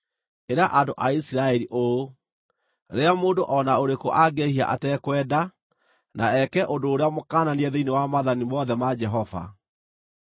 “Ĩra andũ a Isiraeli ũũ: ‘Rĩrĩa mũndũ o na ũrĩkũ angĩĩhia atekwenda, na eke ũndũ ũrĩa mũkananie thĩinĩ wa maathani mothe ma Jehova: